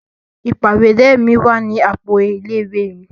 Ìpàwérẹ́ mi wa ni àpò ilé ìwé mi.